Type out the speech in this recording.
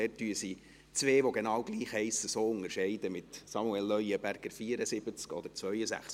Dort unterscheiden sie zwei, die genau gleich heissen, so, mit Samuel Leuenberger, 74, oder 62.